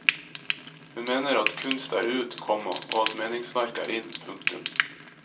Hun mener at kunst er ut, komma og at meningsverk er in. punktum